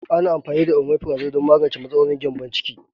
Ana amfani da Omefrazole don magance matsalolin gyambon ciki.